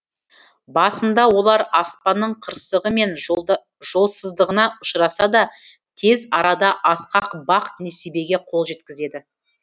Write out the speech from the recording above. басында олар аспанның қырсығы мен жолсыздығына ұшыраса да тез арада асқақ бақ несібеге қол жеткізді